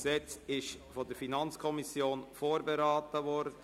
Dieses ist von der FiKo vorberaten worden.